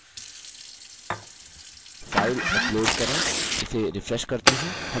file upload करें इसे refresh करते हैं हमें यहाँ एक अच्छा पेज मिला है